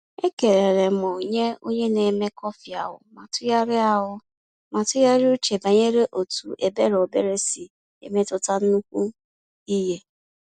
Ekelele m nye onye na-eme kọfị ahụ ma tụgharịa ahụ ma tụgharịa uche banyere otu ebere obere si emetụta nnukwu ihe.